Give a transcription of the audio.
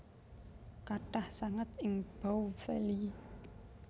Kathah sanget ing Bow Valley